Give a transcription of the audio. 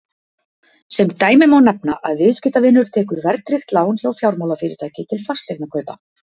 sem dæmi má nefna að viðskiptavinur tekur verðtryggt lán hjá fjármálafyrirtæki til fasteignakaupa